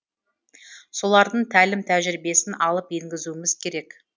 солардың тәлім тәжірибесін алып енгізуіміз керек